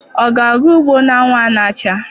Ọ ga-aga ugbo n'anwụ a na-acha?